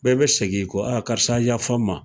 Bɛɛ bɛ segin kɔ karisa yafa ma.